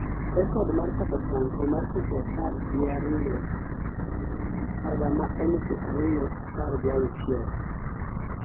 rekod mar Papa Franco mar seche apar gia ariyo haga ma elfu ariyo apar gi auchiel